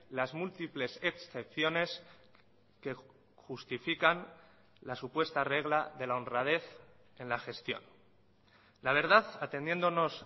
las múltiples excepciones que justifican la supuesta regla de la honradez en la gestión la verdad atendiéndonos